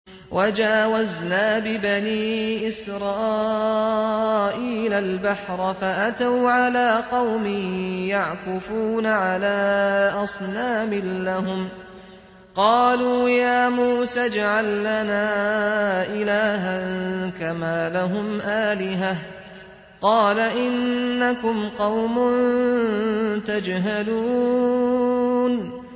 وَجَاوَزْنَا بِبَنِي إِسْرَائِيلَ الْبَحْرَ فَأَتَوْا عَلَىٰ قَوْمٍ يَعْكُفُونَ عَلَىٰ أَصْنَامٍ لَّهُمْ ۚ قَالُوا يَا مُوسَى اجْعَل لَّنَا إِلَٰهًا كَمَا لَهُمْ آلِهَةٌ ۚ قَالَ إِنَّكُمْ قَوْمٌ تَجْهَلُونَ